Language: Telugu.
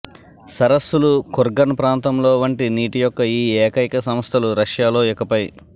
సరస్సులు కుర్గన్ ప్రాంతంలో వంటి నీటి యొక్క ఈ ఏకైక సంస్థలు రష్యాలో ఇకపై